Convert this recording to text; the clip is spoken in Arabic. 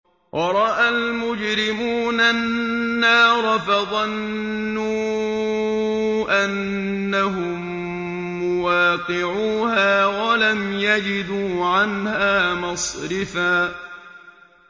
وَرَأَى الْمُجْرِمُونَ النَّارَ فَظَنُّوا أَنَّهُم مُّوَاقِعُوهَا وَلَمْ يَجِدُوا عَنْهَا مَصْرِفًا